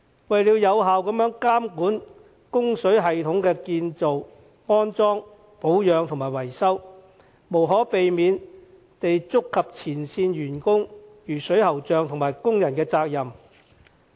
為了有效監管供水系統的建造、安裝、保養和維修，無可避免地觸及前線員工，如水喉匠和工人的責任。